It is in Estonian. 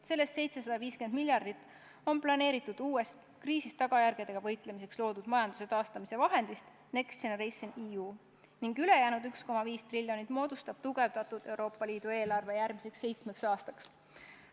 Sellest 750 miljardit on planeeritud uuest, kriisi tagajärgedega võitlemiseks loodud majanduse taastamise vahendist "Next Generation EU" ning ülejäänud 1,1 triljonit moodustab tugevdatud Euroopa Liidu eelarve järgmiseks seitsmeks aastaks.